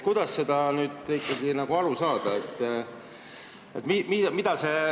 Kuidas sellest ikkagi aru saada?